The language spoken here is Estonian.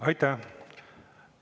Aitäh!